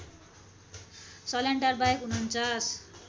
सल्यानटार बाहेक ४९